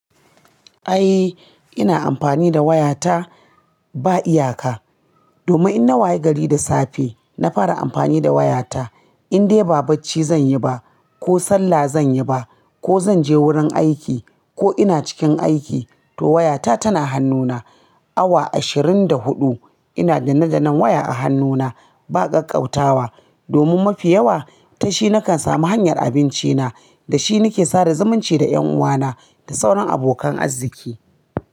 Ai ina amfani da wayata ba iyaka. Domin in na waye gari da safe, na fara amfani da wayata. In dai ba bacci zan yi ba, ko sallah zan yi ba, ko zan je wurin aiki ko ina cikin aiki, to wayata tana hannuna. Awa ashirin da huɗu ina danne-dannen waya a hannuna ba ƙaƙƙautawa. Domin mafi yawa ta shi nakan samu hanyar abincina, da shi nake sada zumunci da 'yan uwana da sauran abokan arziki.